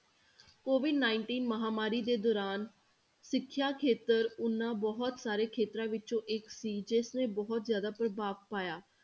COVID nineteen ਮਹਾਂਮਾਰੀ ਦੇ ਦੌਰਾਨ ਸਿੱਖਿਆ ਖੇਤਰ ਉਹਨਾਂ ਬਹੁਤ ਸਾਰੇ ਖੇਤਰਾਂ ਵਿੱਚੋਂ ਇੱਕ ਸੀ, ਜਿਸਨੇ ਬਹੁਤ ਜ਼ਿਆਦਾ ਪ੍ਰਭਾਵ ਪਾਇਆ।